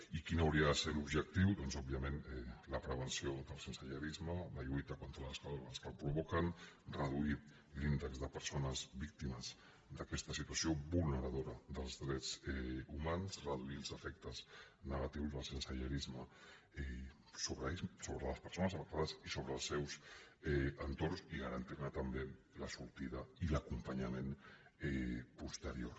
i quin hauria de ser l’objectiu doncs òbviament la prevenció del sensellarisme la lluita contra les causes que el provoquen reduir l’índex de persones víctimes d’aquesta situació vulneradora dels drets humans reduir els efectes negatius del sensellarisme sobre les persones afectades i sobre els seus entorns i garantir ne també la sortida i l’acompanyament posterior